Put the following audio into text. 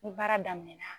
Ni baara daminɛna